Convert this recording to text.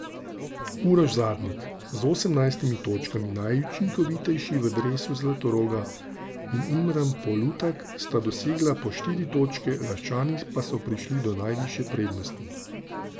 Uroš Zadnik, z osemnajstimi točkami najučinkovitejši v dresu Zlatoroga, in Imran Polutak sta dosegla po štiri točke, Laščani pa so prišli do najvišje prednosti.